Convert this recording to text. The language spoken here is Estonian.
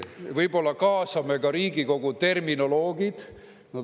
Võib-olla kaasame ka Riigikogu terminoloogid.